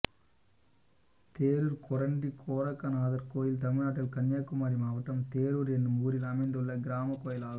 தேரூர் கொரண்டி கோரக்கநாதர் கோயில் தமிழ்நாட்டில் கன்னியாகுமரி மாவட்டம் தேரூர் என்னும் ஊரில் அமைந்துள்ள கிராமக் கோயிலாகும்